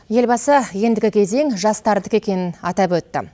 елбасы ендігі кезең жастардікі екенін атап өтті